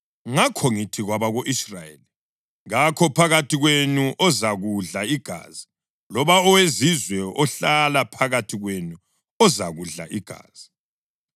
Ngakho ngithi kwabako-Israyeli, “Kakho phakathi kwenu ozakudla igazi, loba owezizwe ohlala phakathi kwenu ozakudla igazi.”